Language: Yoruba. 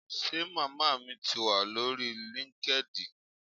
Ṣe màmá mi ti wa lórí linkedin?